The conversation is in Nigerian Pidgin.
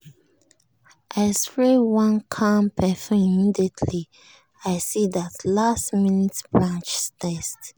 i spray one calm perfume immediately i see that last-minute brunch text.